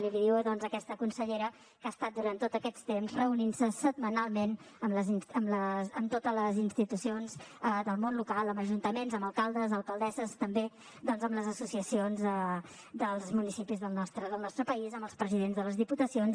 i l’hi diu doncs aquesta consellera que ha estat durant tots aquests temps reunint se setmanalment amb totes les institucions del món local amb ajuntaments amb alcaldes alcaldesses també amb les associacions dels municipis del nostre país amb els presidents de les diputacions